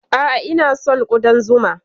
A'a, ina son ƙudan zuma.